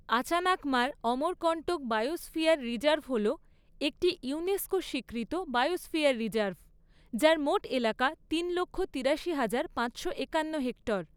Achanakmar Amarkantak biosphere reserve হল একটি UNESCO স্বীকৃত বায়োস্ফিয়ার রিজার্ভ, যার মোট এলাকা তিন লক্ষ তিরাশি হাজার পাঁচশো একান্ন হেক্টর।